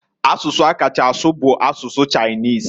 Asụsụ a kacha asụ bu asụsụ Chinese.